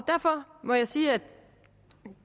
derfor må jeg sige at